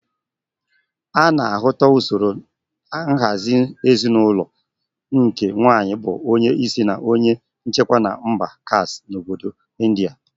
Ana ahụta usoro nhazị ezinulo nke nwaanyi bu onye isi na onye nchikwa na mba Khasi n'obodo India.